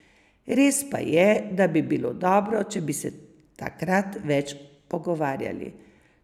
Res pa je, da bi bilo dobro, če bi se takrat več pogovarjali.